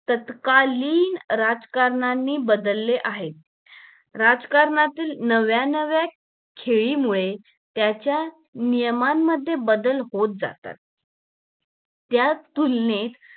तत्कालीन राजकारनाणी बदले आहे राजकारणातील नव्यानव्या खेळी मुळे त्याच्या नियमांमध्ये बदल होत जातात त्या तुलनेत